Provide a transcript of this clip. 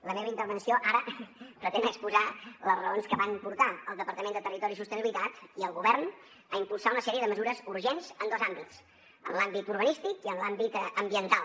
la meva intervenció ara pretén exposar les raons que van portar el departament de territori i sostenibilitat i al govern a impulsar una sèrie de mesures urgents en dos àmbits en l’àmbit urbanístic i en l’àmbit ambiental